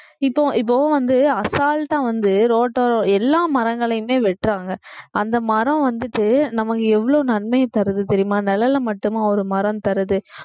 இப்போ இப்போ வந்து அசால்டா வந்து ரோட்டோரம் எல்லா மரங்களையுமே வெட்டுறாங்க அந்த மரம் வந்துட்டு நமக்கு எவ்வளவு நன்மையைத் தருது தெரியுமா நிழலை மட்டுமா ஒரு மரம் தருது